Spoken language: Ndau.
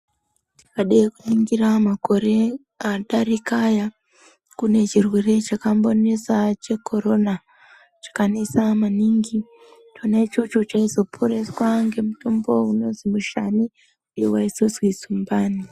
Tikade kuningira makore adarika aya kune chirwere chakambonesa chekorona chakanesa maningi chona ichocho chaizoporeswa ngemutombo unozwi mushani uyo waizozwi zumbani.